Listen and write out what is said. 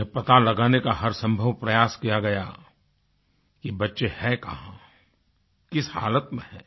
यह पता लगाने का हरसंभव प्रयास किया गया कि बच्चे हैं कहाँ किस हालत में हैं